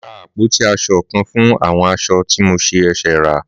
Màá ra àpótí aṣọ kan fún àwọn aṣọ tí mo ṣẹ̀ rà